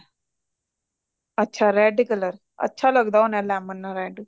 ਅੱਛਾ red color ਅੱਛਾ ਲੱਗਦਾ ਹੋਣਾ lemon ਨਾਲ red